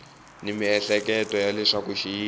ni miehleketo ya leswaku xiyimo